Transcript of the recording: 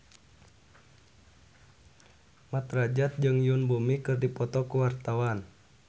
Mat Drajat jeung Yoon Bomi keur dipoto ku wartawan